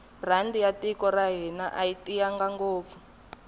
rhandi ya tiko ra hina ayi tiyanga ngopfu